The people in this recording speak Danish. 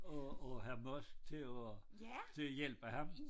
Og og Hr. Musk til at til at hjælpe ham